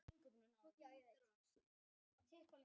Það nafn hefur þó ekki varðveist í heimildum.